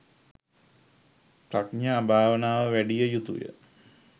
ප්‍රඥා භාවනාව වැඩිය යුතුය.